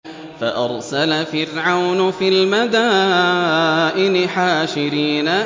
فَأَرْسَلَ فِرْعَوْنُ فِي الْمَدَائِنِ حَاشِرِينَ